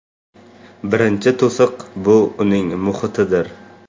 Birinchi to‘siq bu uning muhitidir.